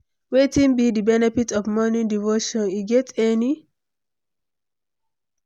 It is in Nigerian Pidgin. Wetin be di benefit of morning devotion, e get any?